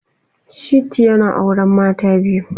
Shittu yana auren mata biyu